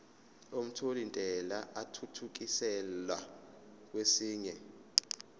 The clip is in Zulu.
omthelintela athuthukiselwa kwesinye